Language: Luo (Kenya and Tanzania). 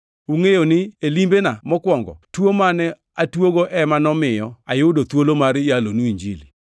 Ungʼeyo ni e limbena mokwongo tuo mane atuogo ema nomiyo ayudo thuolo mar yalonu Injili.